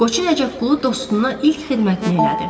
Qoçu Nəcəfqulu dostuna ilk xidmətini elədi.